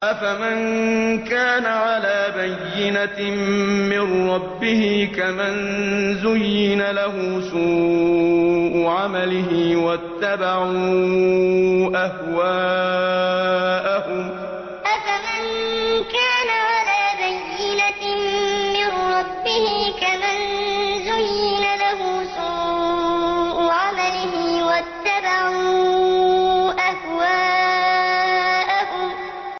أَفَمَن كَانَ عَلَىٰ بَيِّنَةٍ مِّن رَّبِّهِ كَمَن زُيِّنَ لَهُ سُوءُ عَمَلِهِ وَاتَّبَعُوا أَهْوَاءَهُم أَفَمَن كَانَ عَلَىٰ بَيِّنَةٍ مِّن رَّبِّهِ كَمَن زُيِّنَ لَهُ سُوءُ عَمَلِهِ وَاتَّبَعُوا أَهْوَاءَهُم